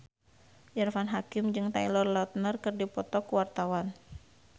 Irfan Hakim jeung Taylor Lautner keur dipoto ku wartawan